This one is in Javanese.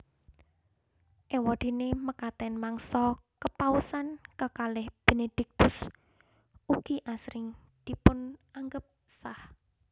Éwadéné mekaten mangsa kepausan kekalih Benediktus ugi asring dipunanggep sah